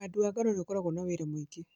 ũhandi wa ngano nĩ ũkoragwo na wĩra mũingĩ